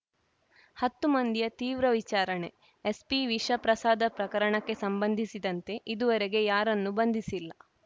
ಹತ್ತು ಮಂದಿಯ ತೀವ್ರ ವಿಚಾರಣೆ ಎಸ್ಪಿ ವಿಷ ಪ್ರಸಾದ ಪ್ರಕರಣಕ್ಕೆ ಸಂಬಂಧಿಸಿದಂತೆ ಇದುವರಗೆ ಯಾರನ್ನು ಬಂಧಿಸಿಲ್ಲ